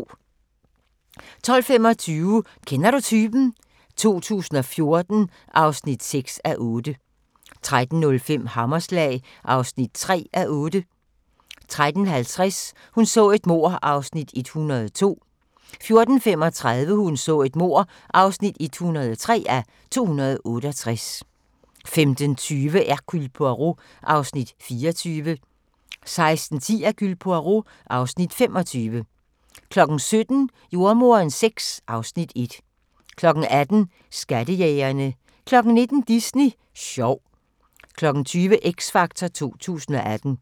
12:25: Kender du typen? 2014 (6:8) 13:05: Hammerslag (3:8) 13:50: Hun så et mord (102:268) 14:35: Hun så et mord (103:268) 15:20: Hercule Poirot (Afs. 24) 16:10: Hercule Poirot (Afs. 25) 17:00: Jordemoderen VI (Afs. 1) 18:00: Skattejægerne 19:00: Disney sjov 20:00: X Factor 2018